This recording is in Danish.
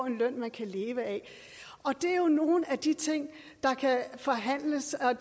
en løn de kan leve af det er jo nogle af de ting der kan forhandles og